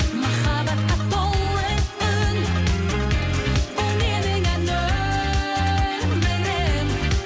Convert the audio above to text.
махаббатқа толы үн бұл менің ән өмірім